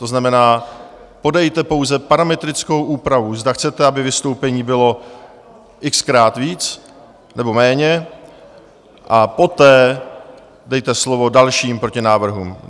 To znamená, podejte pouze parametrickou úpravu, zda chcete, aby vystoupení bylo x-krát víc nebo méně, a poté dejte slovo dalším protinávrhům.